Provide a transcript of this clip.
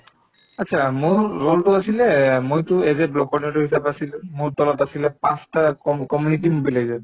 achcha মোৰ role তো আছিলে এহ্ মইতো as a block coordinator হিচাপে আছিলো মোৰ তলত আছিলে পাঁচটা com community manager